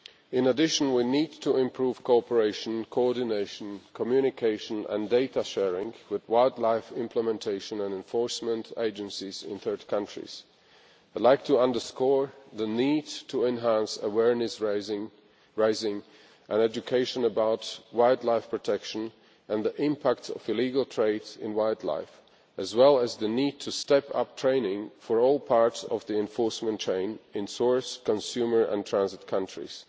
In addition, we need to improve cooperation, coordination, communication and data sharing with wildlife implementation and enforcement agencies in third countries. I would like to underscore the need to enhance awareness raising and education about wildlife protection and the impact of illegal trade in wildlife, as well as the need to step up training for all parts of the enforcement chain in source, consumer and transit countries.